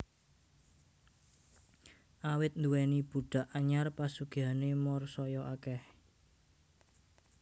Awit nduwèni budhak anyar pasugihané Moor saya akèh